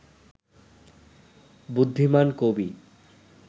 বুদ্ধিমান কবি